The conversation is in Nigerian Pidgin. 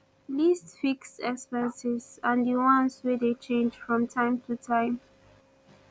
list fixed expenses and di ones wey dey change from time to time